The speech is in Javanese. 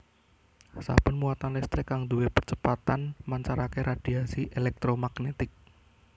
Saben muatan listrik kang duwé percepatan mancarake radhiasi èlèktromagnetik